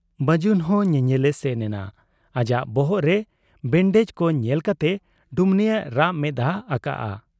ᱵᱟᱹᱡᱩᱱᱦᱚᱸ ᱧᱮᱧᱮᱞᱮ ᱥᱮᱱ ᱮᱱᱟ ᱾ ᱟᱡᱟᱜ ᱵᱚᱦᱚᱜ ᱨᱮ ᱵᱮᱸᱰᱮᱡᱽ ᱠᱚ ᱧᱮᱞ ᱠᱟᱛᱮ ᱰᱩᱢᱱᱤᱭᱮ ᱨᱟᱜ ᱢᱮᱫᱦᱟ ᱟᱠᱟᱜ ᱟ ᱾